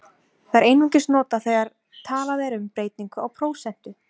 Það er einungis notað þegar talað er um breytingu á prósentu.